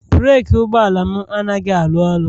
breeki ụgbọala m anaghị arụ ọrụ